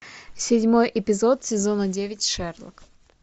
седьмой эпизод сезона девять шерлок